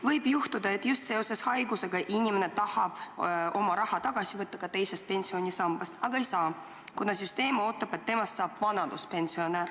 Võib juhtuda, et just seoses haigusega inimene tahab oma raha teisest pensionisambast välja võtta, aga ei saa, kuna süsteem ootab, et temast saab vanaduspensionär.